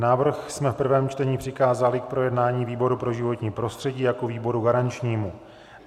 Návrh jsme v prvém čtení přikázali k projednání výboru pro životní prostředí jako výboru garančnímu.